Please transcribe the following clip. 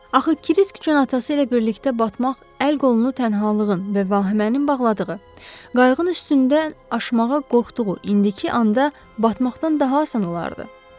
Axı Krisk üçün atası ilə birlikdə batmaq, əl-qolunu tənhalığın və vahimənin bağladığı, qayığın üstündən aşmağa qorxduğu indiki anda batmaqdan daha asan olardı.